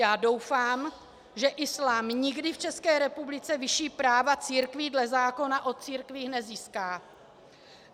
Já doufám, že islám nikdy v České republice vyšší práva církví dle zákona o církvích nezíská.